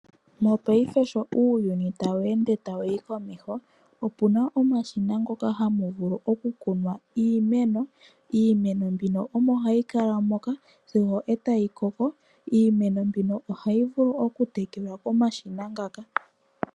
Mopayife sho uuyuni tawu ende tawuyi komeho opuna omashina ngoka haga vulu oku kunwa iimeno. Iimeno mbino omo hayi kala moka sigo tayi koko. Iimeno mbino ohayi vulu oku tekelwa komashina ngaka.